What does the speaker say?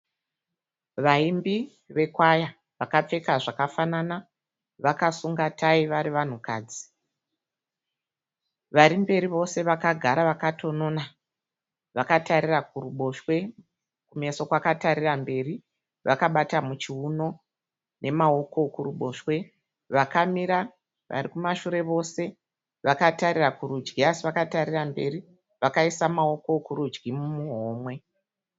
Vaimbi vekwaya vakapfeka zvakafanana vakasunga tayi vari vanhukadzi. Varimberi vose vakagara vakatonona vakatarira kuruboshwe kumeso kwakatarira mberi vakabata muchiuno nemaoko ekuruboshwe. Vakamira varikumashure vose vakatarira kurudyi asi vakatarira mberi vakaisa maoko ekurudyi muhomwe.